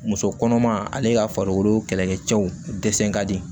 Muso kɔnɔma ale ka farikolo kɛlɛkɛ cɛw dɛsɛ ka di